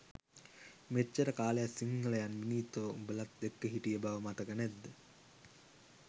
මෙච්චර කාලයක් සිංහලයන් විනීතව උඔලත් එක්ක හිටිය බව මතක නැත්ද?